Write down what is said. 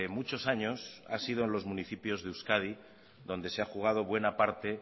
muchos años ha sido en los municipios de euskadi donde se ha jugado buena parte